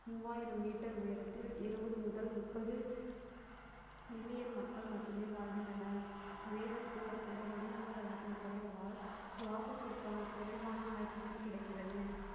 மூவாயிரம் meter உயரத்தில் இருவது முதல் முப்பது million மக்கள் மட்டுமே வாழ்கின்றனர் உயரம் கூட கூட வளிமண்டல அழுத்தம் குறைவதால் சுவாசத்திற்கான குறைவான oxygen கிடைக்கிறது